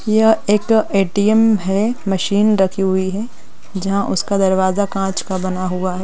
यह एक ए_टी_एम है मशीन रखी हुई है जहा उसका दरवाजा कांच का बना हुआ है।